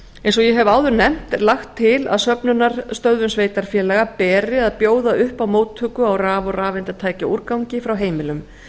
eins og ég hef áður nefnt er lagt til að söfnunarstöðvum sveitarfélaga beri að bjóða upp á móttöku á raf og rafeindatækjaúrgangi frá heimilum